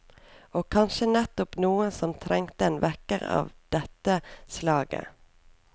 Og kanskje nettopp noen som trengte en vekker av de tte slaget.